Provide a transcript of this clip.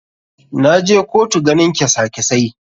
Na je kotu ganin kesa kesai.